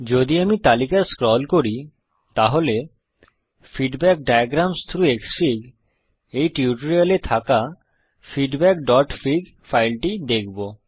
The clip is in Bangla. যদি আমরা তালিকা স্ক্রল করি তাহলে ফিডব্যাক ডায়াগ্রামসহ থ্রাউগ ক্সফিগ এই টিউটোরিয়াল এ থাকা feedbackফিগ ফাইলটি দেখব